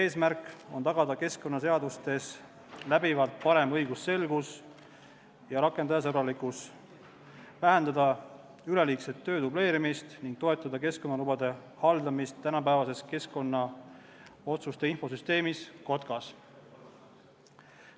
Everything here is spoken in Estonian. Eesmärk on tagada keskkonnaseadustes läbivalt parem õigusselgus ja rakendajasõbralikkus, vähendada töö dubleerimist ning toetada keskkonnalubade haldamist tänapäevases keskkonnaotsuste infosüsteemis Kotkas.